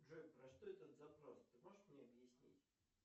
джой про что этот запрос ты можешь мне объяснить